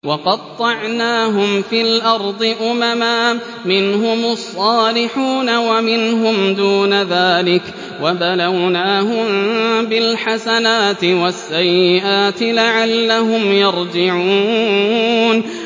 وَقَطَّعْنَاهُمْ فِي الْأَرْضِ أُمَمًا ۖ مِّنْهُمُ الصَّالِحُونَ وَمِنْهُمْ دُونَ ذَٰلِكَ ۖ وَبَلَوْنَاهُم بِالْحَسَنَاتِ وَالسَّيِّئَاتِ لَعَلَّهُمْ يَرْجِعُونَ